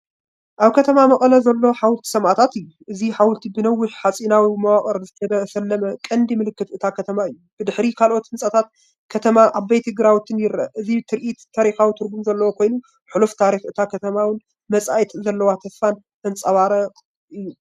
ኣብ ከተማ መቐለ ዘሎ ሓወልቲ ሰማእታት እዩ። እዚ ሓወልቲ ብነዊሕ ሓጺናዊ መዋቕርን ዝተሰለመ ቀንዲምልክት እታ ከተማ እዩ። ብድሕሪት ካልኦት ህንጻታት ከተማን ዓበይቲ ግራውቲን ይርአ። እዚ ትርኢት ታሪኻዊ ትርጉም ዘለዎ ኮይኑ፣ ሕሉፍ ታሪኽ እታ ከተማን ንመጻኢ ዘለዋ ተስፋን ዘንጸባርቕ እዩ።